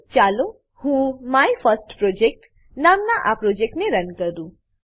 ચાલો હું my first project my first project નામનાં આ પ્રોજેક્ટને રન કરું